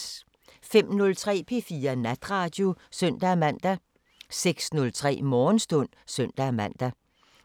05:03: P4 Natradio (søn-man) 06:03: Morgenstund (søn-man)